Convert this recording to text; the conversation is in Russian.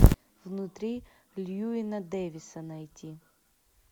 внутри льюина дэвиса найти